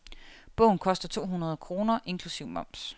Bogen koster to hundrede kroner inklusiv moms.